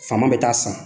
Faama bɛ taa san